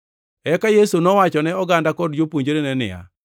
Eka Yesu nowachone oganda kod jopuonjrene niya,